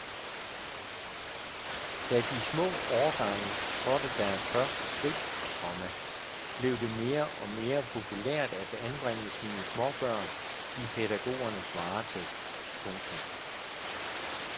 Da de små årgange trådte deres første skridt, komma blev det mere og mere populært at anbringe sine småbørn i pædagogernes varetægt. punktum